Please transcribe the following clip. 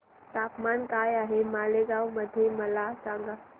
तापमान काय आहे मालेगाव मध्ये मला सांगा